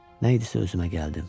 Nə idisə özümə gəldim.